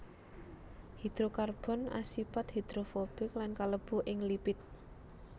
Hidrokarbon asipat hidrofobik lan kalebu ing lipid